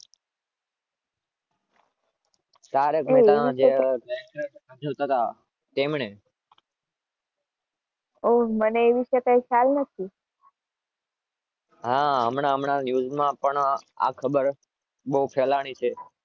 તારક મહેતાનો જે